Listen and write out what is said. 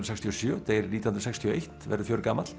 sextíu og sjö deyr nítján hundruð sextíu og eitt verður